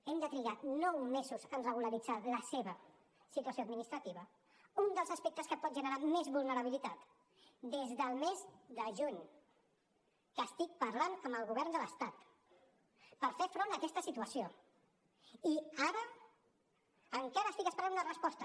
hem de trigar nou mesos en regularitzar la seva situació administrativa un dels aspectes que pot generar més vulnerabilitat des del mes de juny estic parlant amb el govern de l’estat per fer front a aquesta situació i ara encara estic esperant una resposta